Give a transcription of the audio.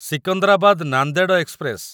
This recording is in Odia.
ସିକନ୍ଦରାବାଦ ନାନ୍ଦେଡ ଏକ୍ସପ୍ରେସ